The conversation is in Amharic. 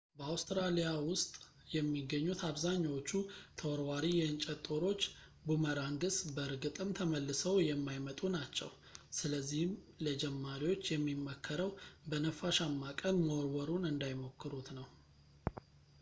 በአውስትራሊያ ውስጥ የሚገኙት አብዛኛዎቹ ተወርዋሪ የእንጨት ጦሮች boomerangs በእርግጥም ተመልሰው የማይመጡ ናቸው። ስለዚህም ለጀማሪዎች የሚመከረው በነፋሻማ ቀን መወርወሩን እንዳይሞክሩት ነው